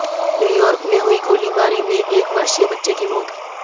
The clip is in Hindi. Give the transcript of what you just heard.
न्यूयॉर्क में हुई गोलीबारी में एक वर्षीय बच्चे की मौत